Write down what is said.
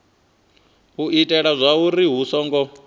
u itela zwauri hu songo